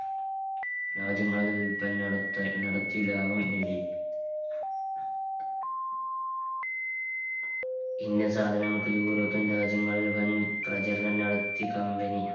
രാജ്യങ്ങളിൽ വില്പന നടത്ത നടത്തി ലാഭം നേടി ഇന്ന സാധനങ്ങൾക്ക് european രാജ്യങ്ങളിൽ വൻ പ്രചരണം നടത്തി company